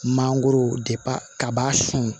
Mangoro kaba sun